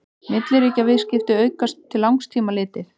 milliríkjaviðskipti aukast til langs tíma litið